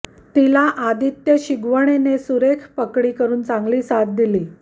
तिला आदित्य शिगवणने सुरेख पकडी करून चांगली साथ दिली